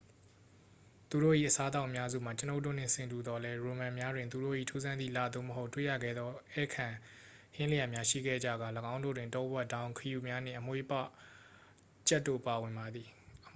သူတို့၏ အစားအသောက်အများစုမှာ ကျွန်ုပ်တို့နှင့် ဆင်တူသော်လည်း ရိုမန်များတွင် သူတို့၏ ထူးဆန်းသည့်လသို့မဟုတ် တွေ့ရခဲသော ဧည့်ခံဟင်းလျာများ ရှိခဲ့ကြကာ ၎င်းတို့တွင် တောဝက် ဒေါင်း ခရုများနှင့် အမွေးပွကြက်တို့ ပါဝင်ပါသည်